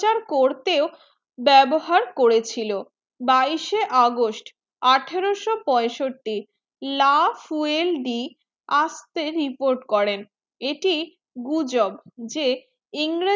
করতেও বেবহার করেছিল বাইশে august আঠারো সো পৈসঠি el di আস্তে report করেন এটি গাজোগ যে england